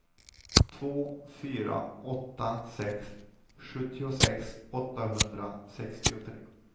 två fyra åtta sex sjuttiosex åttahundrasextiotre